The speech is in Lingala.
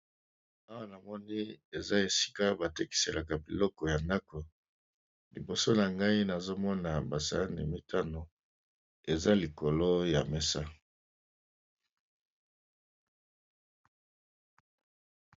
Awa Na moni Eza Esika batekisaka Biloko ya ndako liboso nangai eza basahani mitano eza nase ya mesa